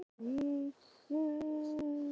Ensk þýðing á þessu svari er í bígerð.